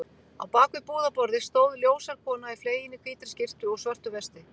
Á bak við búðarborðið stóð ljóshærð kona í fleginni hvítri skyrtu og svörtu vesti.